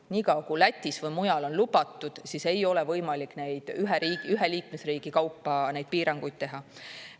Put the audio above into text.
Nii kaua, kui Lätis või mujal on lubatud, siis ei ole võimalik ühe liikmesriigi kaupa neid piiranguid teha.